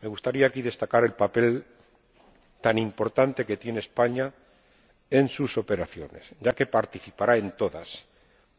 Me gustaría destacar aquí el papel tan importante que tiene España en sus operaciones, ya que participará en todas,